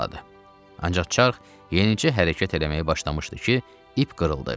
Ancaq çarx yenicə hərəkət eləməyə başlamışdı ki, ip qırıldı.